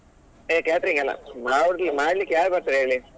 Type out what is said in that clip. ಹೇ catering ಗೆನ ಮಾಡ್ಲಿಕ್ಕೆ ಯಾರು ಬರ್ತಾರೆ ಹೇಳಿ.